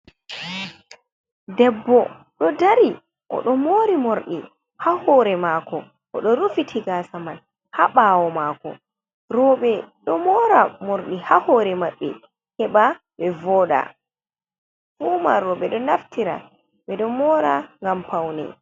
Debbo do dari o do mori mordi ha hore mako odo rufiti gasa man ha bawo mako robe do mora mordi ha hore mabbe heba be voda fu man robe do naftira bedo mora gam paune.